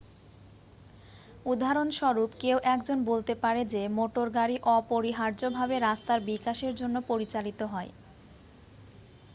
উদাহরণস্বরূপ কেউ একজন বলতে পারে যে মোটর গাড়ি অপরিহার্যভাবে রাস্তার বিকাশের জন্য পরিচালিত হয়